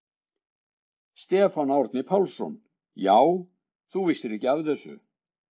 Stefán Árni Pálsson: Já, þú vissir ekki af þessu?